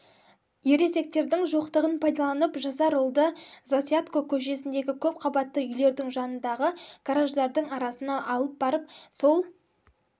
ересектердің жоқтығын пайдаланып жасар ұлды засядко көшесіндегі көпқабатты үйлердің жанындағы гараждардың арасына алып барған сол